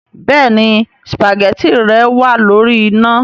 Béèni spaghetti rẹ wàá lórí iná